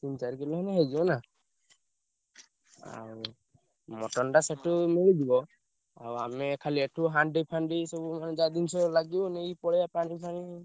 ତିନି ଚାରି କିଲେ ହେଲେ ହେଇଯିବ ନା। ଆଉ mutton ଟା ସେଠୁ ମିଳିଯିବ। ଆଉ ଆମେ ଖାଲି ଏଠୁ ହାଣ୍ଡି ଫାଣ୍ଡି ସବୁ ମାନେ ଯାହା ଜିନିଷ ଲାଗିବ ନେଇ ପଳେଇଆ ପାଣି ଫାଣି।